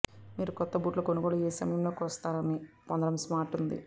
మీరు కొత్త బూట్లు కొనుగోలు ఏ సమయంలో కొలుస్తారు పొందడానికి స్మార్ట్ ఉంది